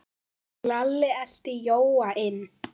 Lalli elti Jóa inn.